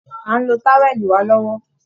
À ń lo táwẹ́lì wà lọ́wọ́